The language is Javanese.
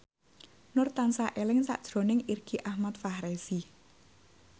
Nur tansah eling sakjroning Irgi Ahmad Fahrezi